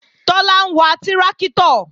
Tọ́lá ń wa tráktọ̀